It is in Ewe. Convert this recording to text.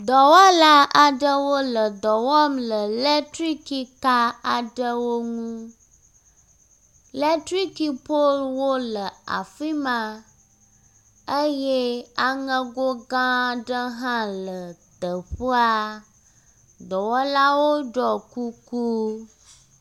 Dɔwɔla aɖewo le dɔ wɔm le eletrikika aɖewo ŋu. Letrikipoluwo le afi ma eye aŋego gã aɖe hã le teƒea. Dɔwɔlawo ɖɔ kuku.